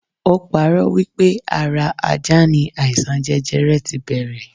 Ó parọ́ wipe ara ajá ni aisan jẹjẹrẹ ti bẹrẹ